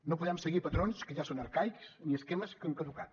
no podem seguir patrons que ja són arcaics ni esquemes que han caducat